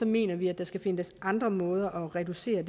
mener vi at der skal findes andre måder at reducere